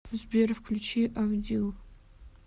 сбер включи авдил